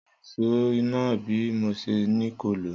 Sọ lọ ìsó nà bí mó sẹ ni kó ló?